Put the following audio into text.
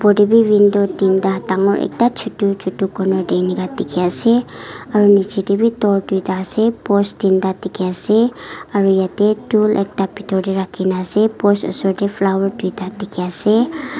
opor te bi window tinta dangor ekta chotu chotu corner te inika dikhi ase aro niche te bi door duita ase post tinta dikhi ase aro yate tool ekta bitor te rakhi na ase post osor te flower duita dikhi ase.